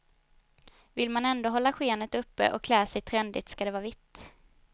Vill man ändå hålla skenet uppe och klä sig trendigt ska det vara vitt.